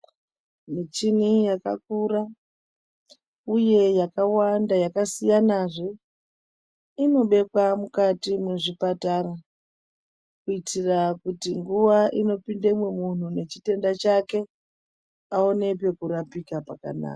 Muchini yakakura uye yakawanda yakasiyana zviyani zve inobekwa muzvipatara kuitira kuti nguwa inooindamo muntu ane chitenda chake aone pekurapika zvakanaka.